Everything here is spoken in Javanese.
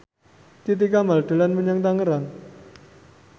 Titi Kamal dolan menyang Tangerang